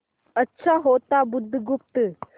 अच्छा होता बुधगुप्त